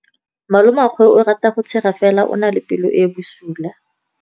Malomagwe o rata go tshega fela o na le pelo e e bosula.